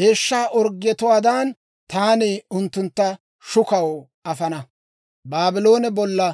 deeshsha orggetuwaadan, taani unttuntta shukaw afana.